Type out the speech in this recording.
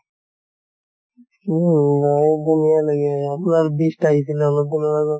আপোনাৰ beast আহিছিলে লপ দিনৰ আগত